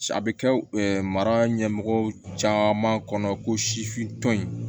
A bɛ kɛ mara ɲɛmɔgɔw caman kɔnɔ ko sifin tɔn in